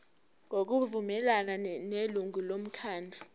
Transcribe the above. ngokuvumelana nelungu lomkhandlu